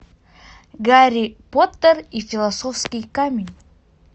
гарри поттер и философский камень